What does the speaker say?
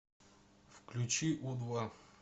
включи у два